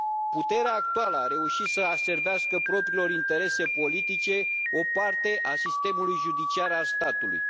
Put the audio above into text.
Puterea actuală a reușit să aservească propriilor interese politice o parte a sistemului judiciar al statului.